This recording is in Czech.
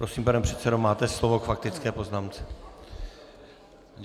Prosím, pane předsedo, máte slovo k faktické poznámce.